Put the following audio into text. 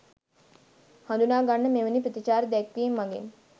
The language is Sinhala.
හඳුනා ගන්න මෙවැනි ප්‍රතිචාර දක්වීම් මගින්